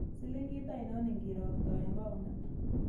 Silingit ainon ingiiroktoen paunit